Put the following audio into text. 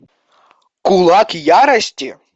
кулак ярости